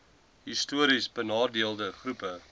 histories benadeelde groepe